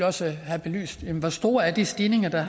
også have belyst hvor store de stigninger er